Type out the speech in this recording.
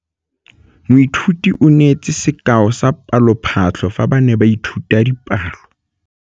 Moithuti o neetse sekaô sa palophatlo fa ba ne ba ithuta dipalo.